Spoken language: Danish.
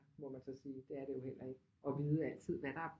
Må man så sige det er det jo ikke og vide altid hvad der er